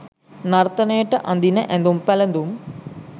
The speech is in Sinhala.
නර්තනයට අඳින ඇඳුම් පැළඳුම්